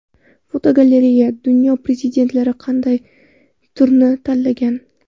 Fotogalereya: Dunyo prezidentlari qanday sport turini tanlagan.